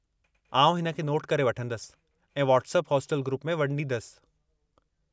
आउं हिन खे नोट करे वठंदसि ऐं व्हाट्सएप हॉस्टल ग्रुप में वंडीदसि।